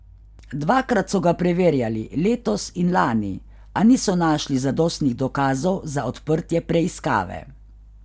Dvakrat so ga preverjali, letos in lani, a niso našli zadostnih dokazov za odprtje preiskave.